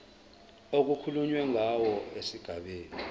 okukhulunywe ngawo esigabeni